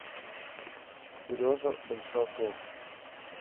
сережа большаков